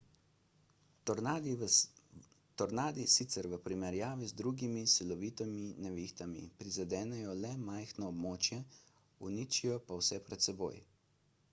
tornadi sicer v primerjavi z drugimi silovitimi nevihtami prizadenejo le majhno območje uničijo pa vse pred seboj